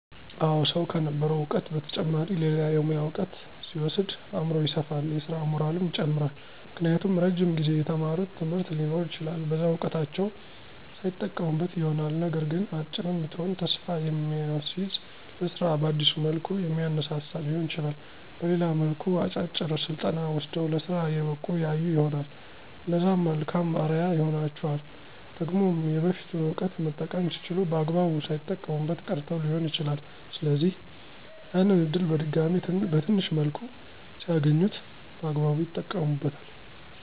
አወ ሰዉ ከነበረዉ እዉቀት በተጨማሪ ሌላ የሙያ እዉቀት ሲወስድ አምሮዉ ይሰፋል የስራ ሞራሉም ይጨምራል። ምክንያቱም እረጅም ጊዜ የተማሩት ትምህርት ሊኖር ይችላል በዛ እዉቀታቸዉ ሳይጠቀሙበት ይሆናልነገር ግን "አጭርም ብትሆን ተስፋ የሚያስዝ ለስራ በአዲስ መልኩ የሚያነሳሳ" ሊሆን ይችላል በሌላም መልኩ "አጫጭር ስልጠና ወስደዉ ለስራ የበቁ ያዩ ይሆናል" እነዛም መልካም አርያ ይሆኗቸዋል። ደግሞም የበፊቱን እዉቀት መጠቀም ሲችሉ በአግባቡ ሳይጠቀሙበት ቀርተዉ ሊሆን ይችላል ስለዚህ፦< ያንን እድል በድጋሜ በትንሽ መልኩ ሲያገኙት> በአግባብ ይጠቀሙበታል።